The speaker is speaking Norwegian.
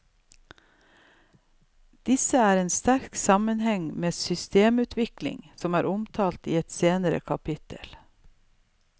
Disse har en sterk sammenheng med systemutvikling, som blir omtalt i et senere kapittel.